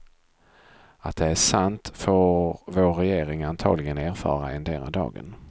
Att det är sant får vår regering antagligen erfara endera dagen.